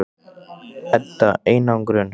Edda: Einangrun?